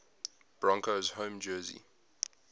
broncos home jersey